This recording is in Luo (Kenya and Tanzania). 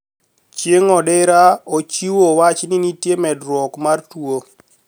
Chieng` odira ochuiwo wach ni nitie medruok mar tuo